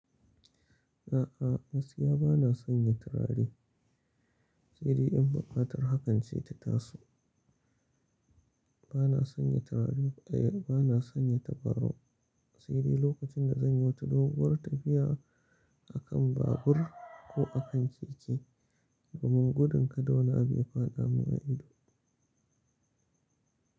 A'a, gaskiya bana sanya turare, sai dai in buƙatar hakan ce ta taso. Bana sanya tabarau, eh bana sanya tabarau, sai dai lokacin da zan yi wata doguwar tafiya a kan babur ko a kan keke, domin gudun kada wani abu ya faɗa mun a ido.